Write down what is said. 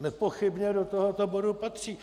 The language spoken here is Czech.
nepochybně do tohoto bodu patří.